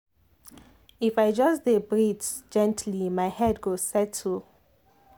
if i just dey breathe gently my head go settle.